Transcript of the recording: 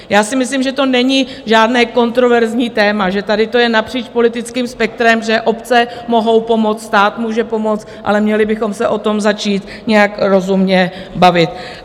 Já si myslím, že to není žádné kontroverzní téma, že tady to je napříč politickým spektrem, že obce mohou pomoct, stát může pomoct, ale měli bychom se o tom začít nějak rozumně bavit.